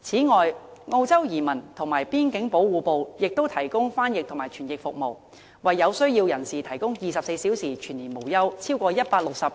此外，澳洲移民及邊境保護部亦提供翻譯及傳譯服務，為有需要人士提供24小時全年無休，超過160種